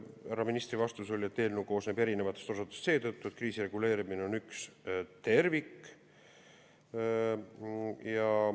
Härra ministri vastus oli, et eelnõu koosneb erinevatest osutustest seetõttu, et kriisireguleerimine on üks tervik.